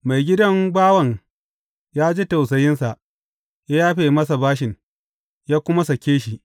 Maigidan bawan ya ji tausayinsa, ya yafe masa bashin, ya kuma sake shi.